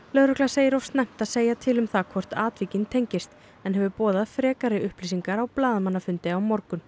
lögregla segir of snemmt að segja til um hvort atvikin tengist en hefur boðað frekari upplýsingar á blaðamannafundi á morgun